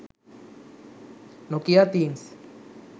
nokia themes